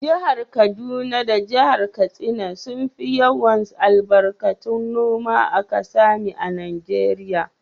Jihar kaduna da Jihar katsina sun fi yawar albarkatu noma a kasami a najeria.